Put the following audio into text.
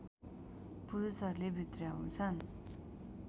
पुरुषहरूले भित्र्याउँछन्